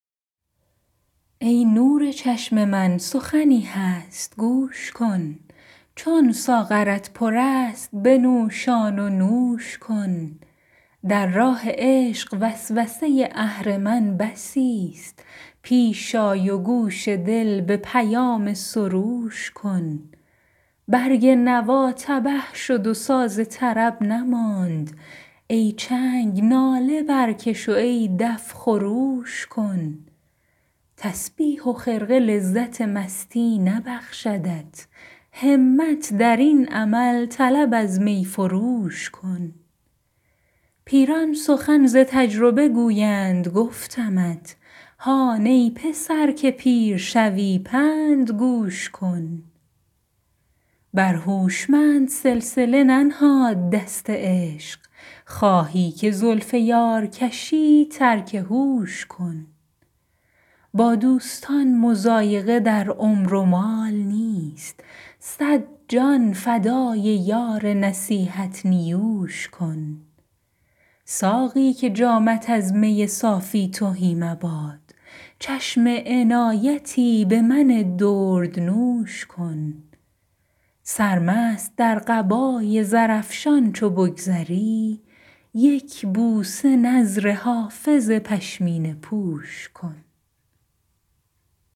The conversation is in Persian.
ای نور چشم من سخنی هست گوش کن چون ساغرت پر است بنوشان و نوش کن در راه عشق وسوسه اهرمن بسیست پیش آی و گوش دل به پیام سروش کن برگ نوا تبه شد و ساز طرب نماند ای چنگ ناله برکش و ای دف خروش کن تسبیح و خرقه لذت مستی نبخشدت همت در این عمل طلب از می فروش کن پیران سخن ز تجربه گویند گفتمت هان ای پسر که پیر شوی پند گوش کن بر هوشمند سلسله ننهاد دست عشق خواهی که زلف یار کشی ترک هوش کن با دوستان مضایقه در عمر و مال نیست صد جان فدای یار نصیحت نیوش کن ساقی که جامت از می صافی تهی مباد چشم عنایتی به من دردنوش کن سرمست در قبای زرافشان چو بگذری یک بوسه نذر حافظ پشمینه پوش کن